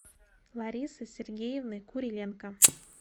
ларисы сергеевны куриленко